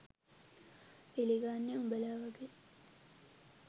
පිළිගන්නෙ උඹල වගේ